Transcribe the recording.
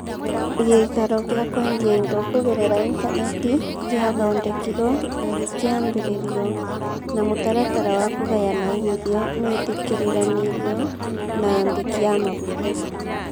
Gĩikaro kĩa kwendia indo kũgerera intaneti nĩ gĩathondekirwo na gĩkĩambĩrĩrio, na mũtaratara wa kũgayana uumithio nĩ wĩtĩkĩriranirio na andĩki a mabuku.